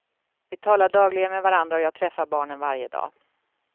Vi talar dagligen med varandra och jag träffar barnen varje dag.